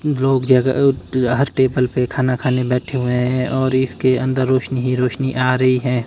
लोग जगह हर टेबल पे खाना खाने बैठे हुए हैं और इसके अंदर रोशनी ही रोशनी आ रहीं है।